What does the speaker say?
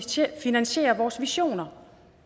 til at finansiere vores visioner